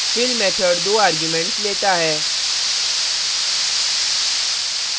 fill method दो arguments लेता है